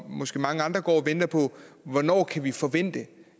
måske mange andre går og venter på hvornår kan vi forvente